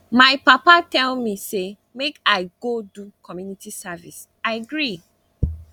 my papa tell me say make i go do community service i agree